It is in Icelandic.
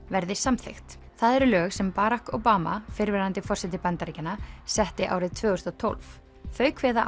verði samþykkt það eru lög sem Barack Obama fyrrverandi forseti Bandaríkjanna setti árið tvö þúsund og tólf þau kveða